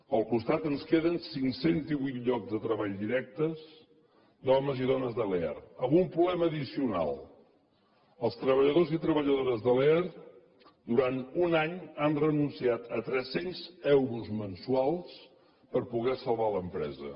al costat ens queden cinc cents i divuit llocs de treball directes d’homes i dones de lear amb un problema addicional els treballadors i treballadores de lear durant un any han renunciat a tres cents euros mensuals per poder salvar l’empresa